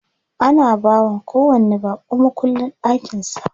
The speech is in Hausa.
Ana bawa kowanni baƙo mukullin ɗakin sa.